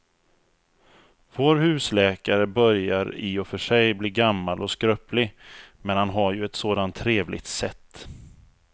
Vår husläkare börjar i och för sig bli gammal och skröplig, men han har ju ett sådant trevligt sätt!